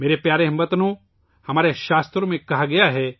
میرے پیارے ہم وطنو، ہمارے شاستروں میں کہا گیا ہے